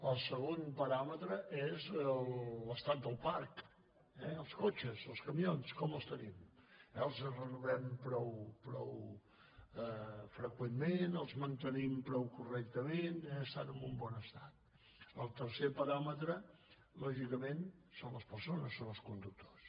el segon paràmetre és l’estat del parc eh els cotxes els camions com els tenim els renovem prou freqüentment els mantenim prou correctament estan en un bon estat el tercer paràmetre lògicament són les persones són els conductors